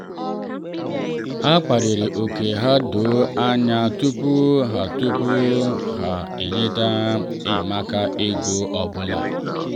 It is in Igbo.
ha kparịrị ókè ha doo anya tupu ha tupu ha enyefe enyemaka ego ọ bụla.